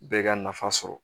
Bɛɛ ka nafa sɔrɔ